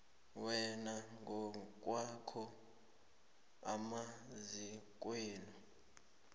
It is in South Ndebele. wena ngokwakho emazikweni